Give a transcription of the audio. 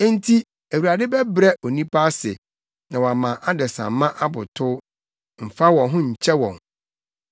Enti, Awurade bɛbrɛ onipa ase na wama adesamma abotow, mfa wɔn ho nkyɛ wɔn.